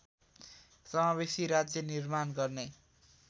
समावेशी राज्य निर्माण गर्ने